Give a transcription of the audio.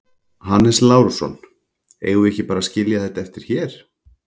Hannes Lárusson: Eigum við ekki bara að skilja þetta eftir hér?